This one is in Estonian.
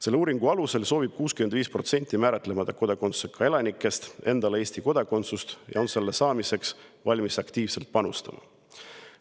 Selle uuringu alusel soovib 65% määratlemata kodakondsusega elanikest endale Eesti kodakondsust ja on selle saamiseks valmis aktiivselt panustama.